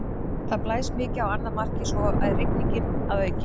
Það blæs mikið á annað markið og svo er rigning að auki.